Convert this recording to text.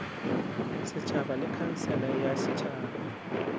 setšhaba le khansele ya setšhaba